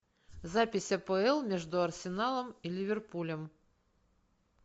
запись апл между арсеналом и ливерпулем